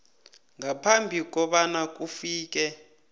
ngaphambi kobana kufike